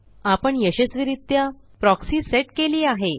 आपण यशस्वीरित्या proxy set केली आहे